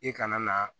I kana na